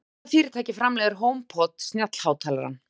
Hvaða fyrirtæki framleiðir Homepod snjallhátalarann?